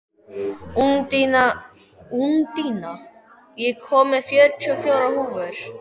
Úndína, ég kom með fjörutíu og fjórar húfur!